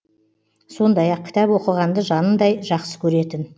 сондай ақ кітап оқығанды жанындай жақсы көретін